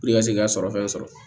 i ka se k'a sɔrɔ fɛn sɔrɔ